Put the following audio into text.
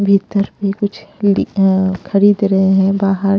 भीतर भी कुछ ली अ अ अ खरीद रहे हैं बाहर--